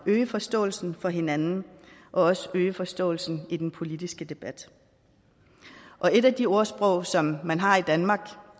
at øge forståelsen for hinanden og også øge forståelsen i den politiske debat et af de ordsprog som man har i danmark